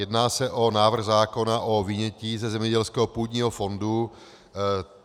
Jedná se o návrh zákona o vynětí ze zemědělského půdního fondu.